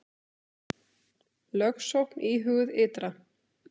Lögsókn íhuguð ytra